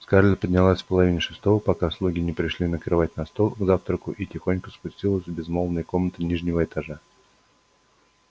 скарлетт поднялась в половине шестого пока слуги не пришли накрывать на стол к завтраку и тихонько спустилась в безмолвные комнаты нижнего этажа